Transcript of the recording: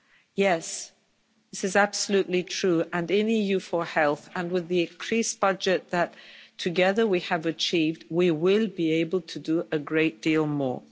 Yes, this is absolutely true, and in the EU4Health and with the increased budget that together we have achieved, we will be able to do a great deal more.